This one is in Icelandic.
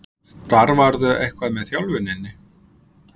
Starfarðu eitthvað með þjálfuninni?